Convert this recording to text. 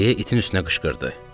Deyə itin üstünə qışqırdı.